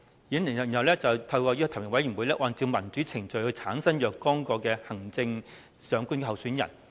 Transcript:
"然後是"提名委員會須按照民主程序提名產生若干名行政長官候選人"。